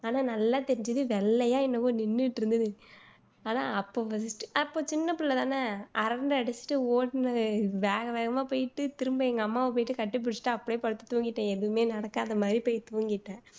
ஆனா நல்லா தெரிஞ்சுது வெள்ளையா என்னவோ நின்னுட்டு இருந்துது அதான் அப்ப அப்போ சின்ன புள்ள தான அரண்டு அடிச்சுட்டு ஓடுனனே வேக வேகமா போயிட்டு திரும்ப எங்க அம்மாவ போயிட்டு கட்டிப்புடிச்சுட்டு அப்படியே படுத்து தூங்கிட்டேன் எதுவுமே நடக்காத மாதிரி போயி தூங்கிட்டேன்